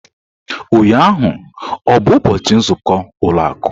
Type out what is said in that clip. Ụnyaahụ ọ bụ ụbọchị nzukọ ụlọ akụ?